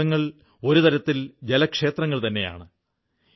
ഈ കുളങ്ങൾ ഒരു തരത്തിൽ ജലക്ഷേത്രങ്ങൾ തന്നെയാണ്